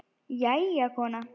Jæja, kona.